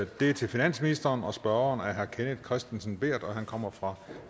det er til finansministeren og spørgeren er herre kenneth kristensen berth og han kommer fra